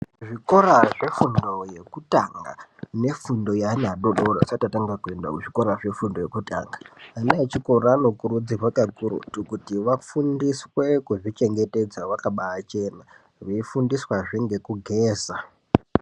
Zvikora zvefundo yekutanga nefundo yeana vadodori vasati vatanga kuenda kuzvikora zvefundo yekutanga , ana echikora anokurudzirwa kakurutu kuti vafundiswe kuzvichengetedza vakaba chena veifundiswazve ngekugeza.